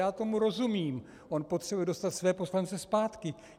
Já tomu rozumím - on potřebuje dostat své poslance zpátky.